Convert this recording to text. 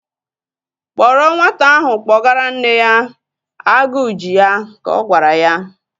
Kpọrọ nwata ahụ kpọgara nne ya! Agụ ji ya, ka ọ gwara ya